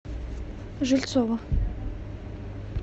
жильцову